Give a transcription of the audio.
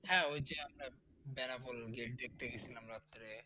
হ্যাঁ, ওই যে আমরা বেনাপোল গেইট দেখতে গেছিলাম রাত্রে